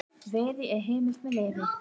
Veiði er heimil með leyfi.